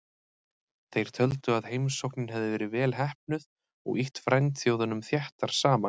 Þeir töldu að heimsóknin hefði verið vel heppnuð og ýtt frændþjóðunum þéttar saman.